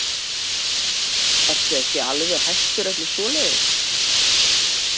Ertu ekki alveg hættur öllu svoleiðis?